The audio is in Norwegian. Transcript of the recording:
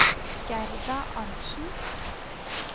Gerda Arntsen